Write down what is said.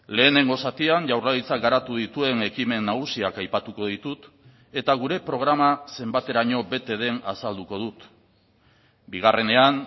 lehenengo zatian jaurlaritzak garatu dituen ekimen nagusiak aipatuko ditut eta gure programa zenbateraino bete den azalduko dut bigarrenean